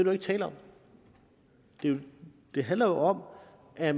jo ikke tale om det det handler om at